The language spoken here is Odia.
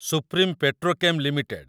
supreme petrochem limited